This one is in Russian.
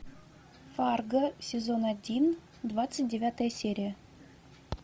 фарго сезон один двадцать девятая серия